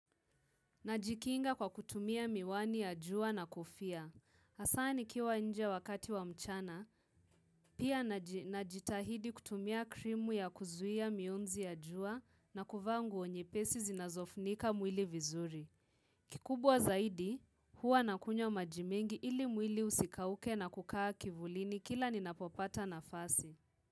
Najikinga kwa kutumia miwani ya jua na kofia. Hasa nikiwa nje wakati wa mchana, pia najitahidi kutumia krimu ya kuzuia mionzi ya jua na kuvaa nguo nyepesi zinazofunika mwili vizuri. Kikubwa zaidi, huwa nakunywa maji mengi ili mwili usikauke na kukaa kivulini kila ninapopata nafasi.